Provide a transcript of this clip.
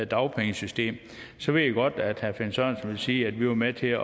dagpengesystem så ved jeg godt at herre finn sørensen vil sige at vi var med til at